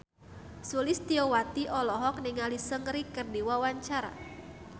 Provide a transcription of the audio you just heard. Sulistyowati olohok ningali Seungri keur diwawancara